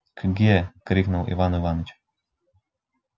кге крикнул иван иваныч